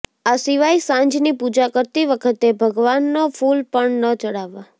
આ સિવાય સાંજની પૂજા કરતી વખતે ભગવાનનો ફુલ પણ ન ચડાવવા